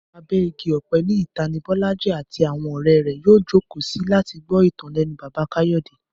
Abẹ́ igi ọ̀pẹ ní ìta ni Bọ́lájí àti àwọn ọ̀rẹ́ rẹ̀ yóò jókòó sí láti gbọ́ ìtàn lẹ́nu Bàbá Káyọ̀dé